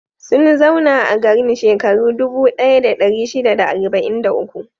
Sun zauna a garin shekaru dubu ɗaya da ɗari shida da arba'in da uku.